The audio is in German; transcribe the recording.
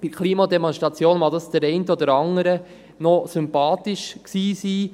– Bei der Klimademonstration mag es der einen oder anderen noch sympathisch gewesen sein.